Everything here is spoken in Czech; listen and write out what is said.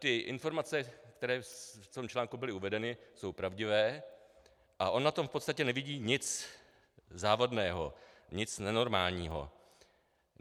Ty informace, které v tom článku byly uvedeny, jsou pravdivé a on na tom v podstatě nevidí nic závadného, nic nenormálního.